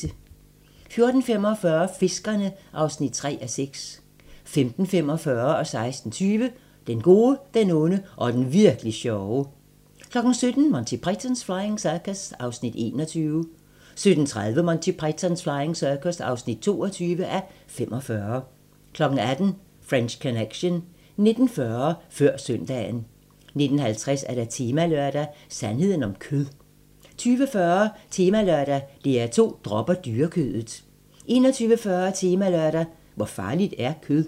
14:45: Fiskerne (3:6) 15:45: Den gode, den onde og den virk'li sjove 16:20: Den gode, den onde og den Virk'li sjove 17:00: Monty Python's Flying Circus (21:45) 17:30: Monty Python's Flying Circus (22:45) 18:00: French Connection 19:40: Før søndagen 19:50: Temalørdag: Sandheden om kød 20:40: Temalørdag: DR2 dropper dyrekødet 21:40: Temalørdag: Hvor farligt er kød?